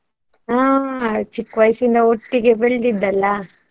ಹಾ ಚಿಕ್ಕ ವಯಸ್ಸಿಂದ ಒಟ್ಟಿಗೆ ಬೆಳೆದಿದ್ದಲ್ಲ.